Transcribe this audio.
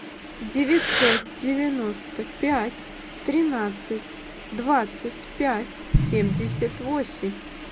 девятьсот девяносто пять тринадцать двадцать пять семьдесят восемь